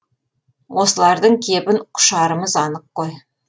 осылардың кебін құшарымыз анық қой